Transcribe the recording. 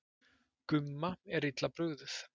Gumma er illa brugðið.